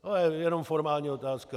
To je jenom formální otázka.